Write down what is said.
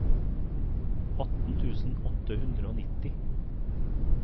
atten tusen åtte hundre og nitti